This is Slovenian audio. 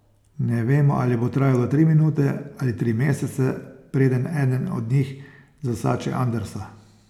Ne vemo, ali bo trajalo tri minute ali tri mesece, preden eden od njih zasači Andersa.